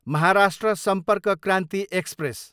Maharashtra Sampark Kranti express